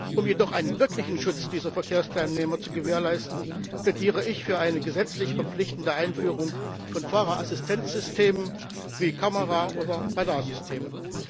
Um jedoch einen wirklichen Schutz dieser Verkehrsteilnehmer zu gewährleisten, plädiere ich für eine gesetzlich verpflichtende Einführung von Fahrerassistenzsystemen wie Kameras oder Radarsystemen.